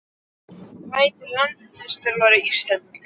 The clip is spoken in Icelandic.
Hvað heitir landsliðsþjálfari Íslendinga?